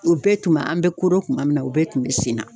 O bɛɛ tun b'an an be kodɔn kuma min na o bɛɛ tun be sen na